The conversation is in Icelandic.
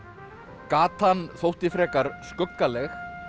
gatan þótti frekar skuggaleg